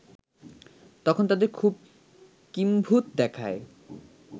তখন তাদের খুব কিম্ভুত দেখায়